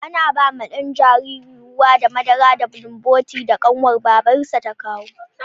Ana bawa ɗan jaririn ruwa da madara da bulumbotin da ƙanwar babarsa ta kawo